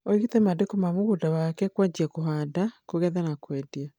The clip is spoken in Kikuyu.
aĩngĩte mandĩko ma mũgũnda wake kwanjia kũhanda, kũgetha na kwendia